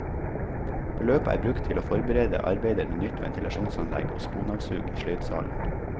Beløpet er brukt til å forberede arbeider med nytt ventilasjonsanlegg og sponavsug i sløydsalen.